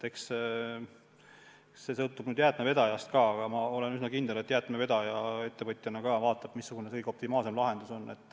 Eks see sõltub jäätmevedajast ka, aga ma olen üsna kindel, et jäätmevedaja ettevõtjana vaatab, missugune on kõige optimaalsem lahendus.